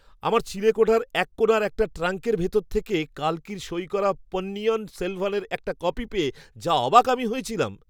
আমার চিলেকোঠার এক কোণার একটা ট্রাঙ্কের ভেতর থেকে কাল্কির সই করা পন্নিয়িন সেলভানের একটা কপি পেয়ে যা অবাক আমি হয়েছিলাম!